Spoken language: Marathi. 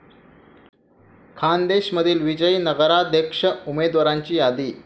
खान्देशमधील विजयी नगराध्यक्ष उमदेवाराची यादी